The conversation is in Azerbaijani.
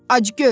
Acgöz.